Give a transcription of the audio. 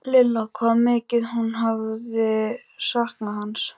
Lilla hvað mikið hún hafði saknað hans.